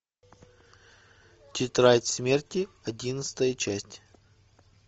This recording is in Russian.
тетрадь смерти одиннадцатая часть